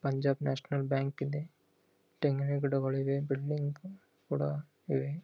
Punjab National Bank ಇದೆ ತೆಂಗಿನ ಗಿಡಗಳು ಇವೆ ಬಿಲ್ಡಿಂಗ್ ಕೂಡ ಇವೆ.